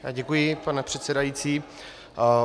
Děkuji, pane předsedající.